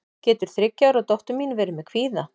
getur þriggja ára dóttir mín verið með kvíða